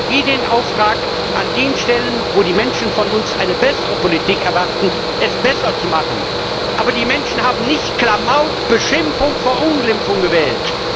Deshalb haben wir den Auftrag, an den Stellen, an denen die Menschen eine bessere Politik von uns erwarten, es besser zu machen. Aber die Menschen haben nicht Klamauk, Beschimpfung, Verunglimpfung gewählt.